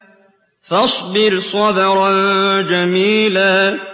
فَاصْبِرْ صَبْرًا جَمِيلًا